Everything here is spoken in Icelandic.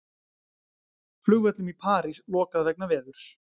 Flugvöllum í París lokað vegna veðurs